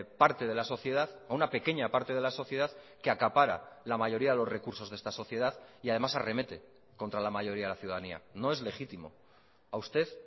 parte de la sociedad a una pequeña parte de la sociedad que acapara la mayoría de los recursos de esta sociedad y además arremete contra la mayoría de la ciudadanía no es legítimo a usted